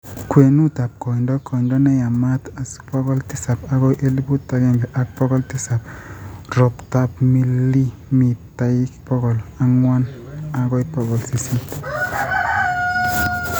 kwenutap koindo - koindo ne yamaat:asl pokol tisap agoi elpuut agenge ak pokol tisap, roptap milimitaik pokol ang'wan agoi pokol sisit